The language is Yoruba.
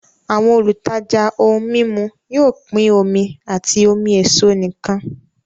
Àwọn olùtajà ohun mímu yóò pín omi àti omi èso nìkan